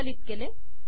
संकलित केले